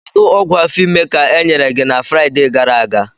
Kedu ọgwụ afọ ime ka enyere gị na Fraịde gara aga?